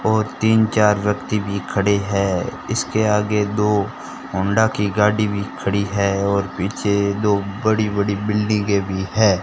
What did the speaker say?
और तीन चार बच्चे भी खड़े हैं इसके आगे दो होंडा की गाड़ी भी खड़ी है और पीछे दो बड़ी बड़ी बिल्डिंगे भी है।